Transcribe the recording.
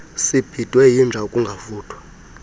sibhidwe yinja ukungavuthwa